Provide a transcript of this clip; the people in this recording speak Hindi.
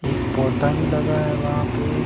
एक पौधा भी लगा है वहां पे--